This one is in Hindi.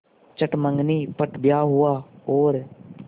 चट मँगनी पट ब्याह हुआ और